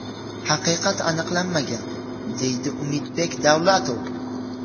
Haqiqat aniqlanmagan”, deydi Umidbek Davlatov.